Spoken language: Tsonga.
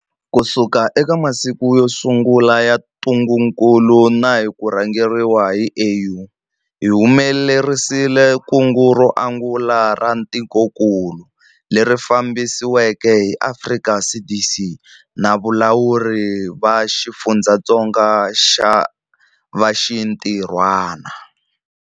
Kusuka eka masiku yo sungula ya ntungukulu na hi ku rhangeriwa hi AU, hi humelerisile kungu ro angula ra tikokulu, leri fambisiweke hi Afrika CDC na valawuri va xifundzatsongo va xintirhwana.